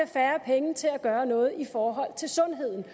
færre penge til at gøre noget i forhold til sundheden